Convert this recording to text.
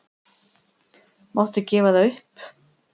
Máttu gefa það upp?